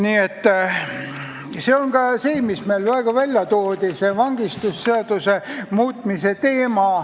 See käib ka selle kohta, mis praegu välja toodi, see on see vangistusseaduse muutmise teema.